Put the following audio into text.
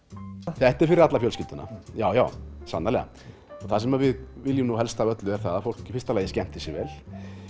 þetta er fyrir alla fjölskylduna já já sannarlega og það sem við viljum nú helst af öllu er að fólk skemmti sér vel